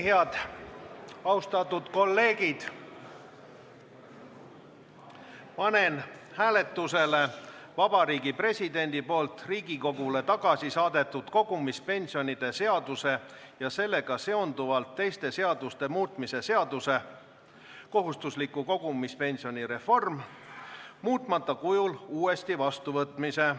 Head austatud kolleegid, panen hääletusele Vabariigi Presidendi poolt Riigikogule tagasi saadetud kogumispensionide seaduse ja sellega seonduvalt teiste seaduste muutmise seaduse muutmata kujul uuesti vastuvõtmise.